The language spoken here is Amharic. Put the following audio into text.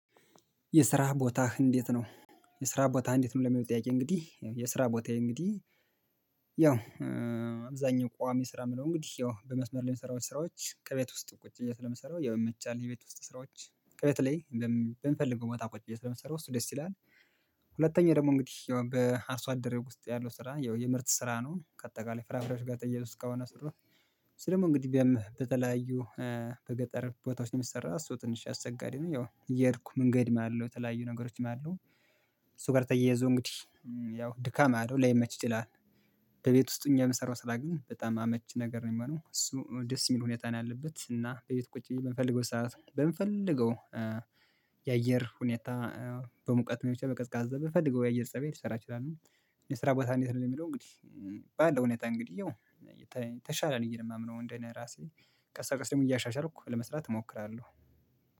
የስራ ቦታህ እንዴት ነው የስራ ቦታህ እንዴት ነው የሚለው? ጥያቄ እንግዲህ የስራ ቦታዬ እንግዲህ ያው አብዛኛው ቋሚ ስራ የምለው እንግዲህ ያው በመስመር ላይ የምሰራው ስራዎች ከቤት ውስጥ ቁጭ ብዬ ስለምሰራው ያው የመቻል የቤት ውስጥ ስራዎች ከቤት ላይ በምፈልገው ቦታ ቁጭ ብዬ ስለምሰራው እሱ ደስ ይላል። ሁለተኛ ደግሞ እንግዲህ በአርሶ አደሬ ውስጥ ያለው ስራ ያው የምርት ስራ ነው ከአጠቃላይ ፍራፍሬዎች ጋር ተያይዞ እስካሁን አስሩት። ስለምን እንግዲህ በተለያዩ በገጠር ቦታዎች የምሰራ እሱ ትንሽ አሰቸሪ ነው ያው እየሄድኩ መንገድ ማለው የተለያዩ ነገሮች ማለው እሱ ጋር ተያይዞ እንግዲህ ያው ድካም አለው ላይመች ይችላል። ከቤት ውስጥ ሆኘ የምሰራው ስራ ግን በጣም አመች ነገር ነው የሚሆነው እሱ ደስ የሚል ሁኔታ ነው ያለበት እና በቤት ቁጭ ብዬ በምፈልገው ሰዓት በምፈልገው የአየር ሁኔታ በሙቀት ሊሆን ይችላል በቀዝቃዛ በፈለገው የአየር ፀባይ ልሰራ እችላለሁ። የስራ ቦታ እንዴት ነው የሚለው እንግዲህ ባለው ሁኔታ እንግዲህ የተሻለ ነው የማምነው እንዴ እኔ ራሴ ቀስበቀስ እያሻሻልኩ ለመስራት እሞክራለሁ።